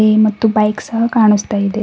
ಇದೇ ಮತ್ತು ಬೈಕ್ ಸಹ ಕಾಣಿಸ್ತಾ ಇದೆ.